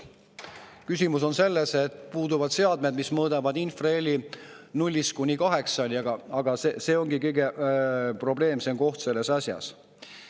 Küsimus on selles, et puuduvad seadmed, mis mõõdavad infraheli nullist kuni kaheksani, aga see ongi kõige probleemsem koht selles asjas.